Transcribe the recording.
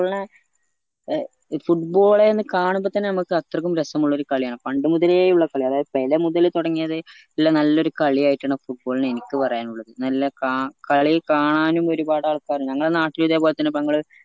football നെ ഏർ football എന്ന് കാണുമ്പോൾ തന്നെ നമ്മക്ക് അത്രക്കും രസമുള്ളൊരു കളിയാണ് പണ്ട് മുതലേ ഉള്ള കളിയാണ് അതായത് പെല മുതൽ തൊടങ്ങിയത്ഇള്ള നല്ലൊരു കളി യായിട്ടാണ് football ന എനിക്ക് പറയാനുള്ളത് നല്ല ക കളി കാണാനും ഒരുപാട് ആൾക്കാര് ഞങ്ങളെ നാട്ടിലും ഇത്പോൽത്തന്നെ